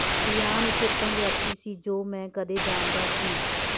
Ryan ਇੱਕ ਉੱਤਮ ਵਿਅਕਤੀ ਸੀ ਜੋ ਮੈਂ ਕਦੇ ਜਾਣਦਾ ਸੀ